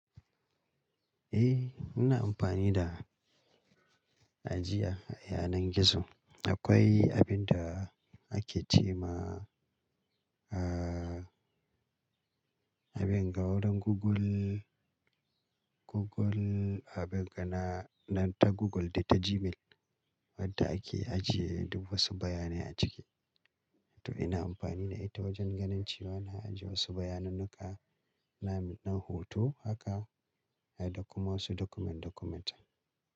Eh, ina amfani da ajiya a yanar gizo. Akwai abin da ake ce ma, ah, abin ga wurin Google, Google abin ga na nan ta Google da ta Gmail wadda ake ajiye duk wasu bayanai a ciki. To ina amfani da ita wajen ganin cewa na ajiye wasu bayanannuka, dan m hoto haka dai da kuma wasu document document.